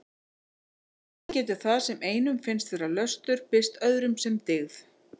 Þannig getur það sem einum finnst vera löstur birst öðrum sem dyggð.